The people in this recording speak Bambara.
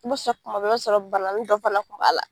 I b'a sɔrɔ kuma bɛɛ i b'a sɔrɔ bananin dɔ fana kun b'a la.